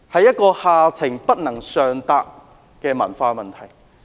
這是下情不能上達的文化問題。